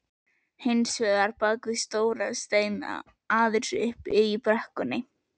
Og hins vegar bakvið stóra steina aðeins uppi í brekkunni.